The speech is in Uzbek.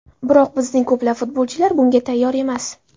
Biroq bizning ko‘plab futbolchilar bunga tayyor emas.